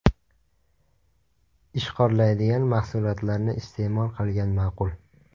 Ishqorlaydigan mahsulotlarni iste’mol qilgan ma’qul.